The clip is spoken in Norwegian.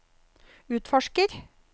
utforsker